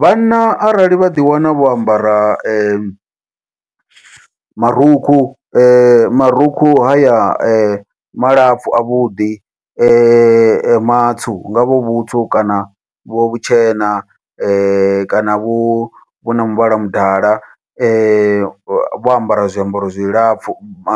Vhanna arali vha ḓi wana vho ambara marukhu marukhu haya malapfhu a vhuḓi matsu, hu ngavha hu vhutsu kana vhu vhutshena kana vhu vhuna muvhala mudala vho ambara zwiambaro zwilapfhu